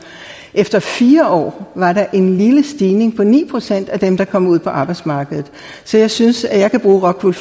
efter fire år var der en lille stigning på ni procent af dem der kom ud på arbejdsmarkedet så jeg synes at jeg kan bruge rockwool